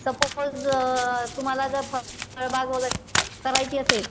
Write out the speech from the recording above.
suppose तुम्हाला जर फळबाग वगैरे करायची असेल